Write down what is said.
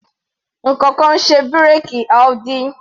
Ǹkankan ń ṣe bírèkì Audi.